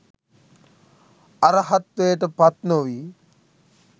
අරහත්වයට පත්නොවී